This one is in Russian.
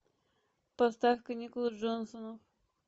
поставь каникулы джонсонов